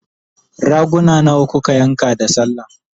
raguna nawa kuka yanka da sallah?